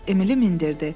Emili mindirdi.